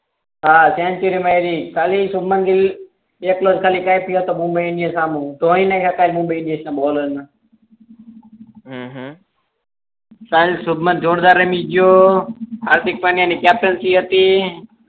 હા સેન્ચ્યુરી માયરી કાલે શુબમનગીલ એકલો જ ખાલી મુંબઈ ની સામે ધોઈ ને ગયા તા મુંબઈ ના બોલર ને હમ હમ કાલ શુબમન જોરદાર રમી ગયો હાર્દિક પંડ્યા ની કેપ્ટનસી હતી